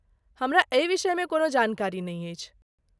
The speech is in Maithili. हमरा एहि विषयमे कोनो जानकारी नहि अछि।